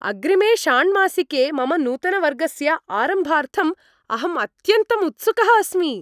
अग्रिमे षाण्मासिके मम नूतनवर्गस्य आरम्भार्थम् अहम् अत्यन्तम् उत्सुकः अस्मि।